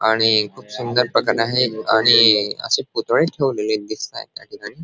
आणि खूप सुंदर पतंग आहे आणि असे पुतळे ठेवलेले दिसत आहेत त्याठिकाणी.